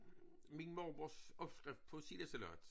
Min mormors opskrift på sildesalat